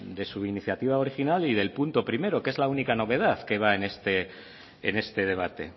de su iniciativa original y del punto primero que es la única novedad que va en este debate